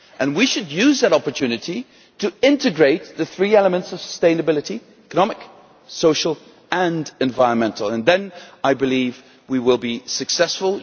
We should use that opportunity to integrate the three elements of sustainability economic, social and environmental and then, I believe, we will be successful.